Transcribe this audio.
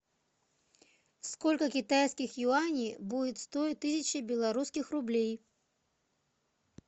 сколько китайских юаней будет стоить тысяча белорусских рублей